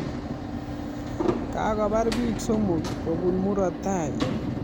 Kakobar biik somok kobun murotai